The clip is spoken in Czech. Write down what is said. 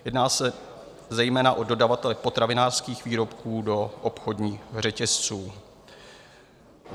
Jedná se zejména o dodavatele potravinářských výrobků do obchodních řetězců.